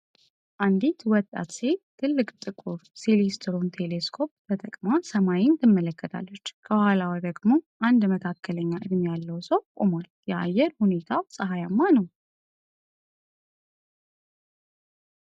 አንዲት ወጣት ሴት ትልቅ ጥቁር ሴለስትሮን ቴሌስኮፕ ተጠቅማ ሰማይን ትመለከታለች። ከኋላዋ ደግሞ አንድ መካከለኛ እድሜ ያለው ሰው ቆሟል፤ የአየር ሁኔታው ፀሐያማ ነው።